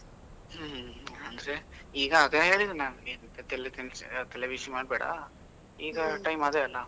ಅಂದ್ರೆ ಈಗ ಅದೇ ಹೇಳಿದು ನಾನು, ಅಂತದೆಲ್ಲ ಎಲ್ಲಾ ತಲೆಬಿಸಿ ಮಾಡ್ಬೇಡ ಈಗ time ಅದೆ ಅಲ್ಲ.